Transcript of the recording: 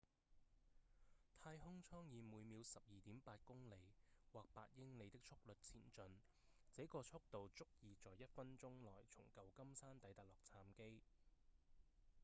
太空艙以每秒 12.8 公里或8英里的速率前進這個速度足以在一分鐘內從舊金山抵達洛杉磯